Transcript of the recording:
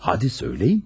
Hadi söyləyin.